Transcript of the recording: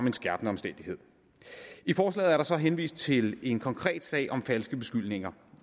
en skærpende omstændighed i forslaget er der så henvist til en konkret sag om falske beskyldninger